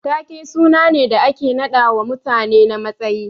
Taake suna ne da ake naɗawa mutane na matsayi.